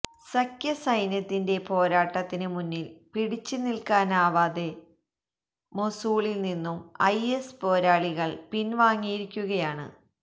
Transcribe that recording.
സഖ്യസൈന്യത്തിന്റെ പോരാട്ടത്തിന് മുന്നിൽ പിടിച്ച് നിൽക്കാനാതെ മൊസൂളിൽ നിന്നും ഐഎസ് പോരാളികൾ പിൻവാങ്ങിയിരിക്കുകയാണ്